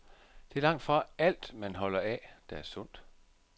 Det er langtfra alt, man holder af, der er sundt.